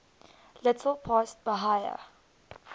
little past bahia